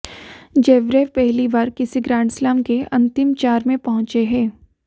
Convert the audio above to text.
Zverev पहली बार किसी ग्रैंडस्लैम के अंतिम चार में पहुंचे हैं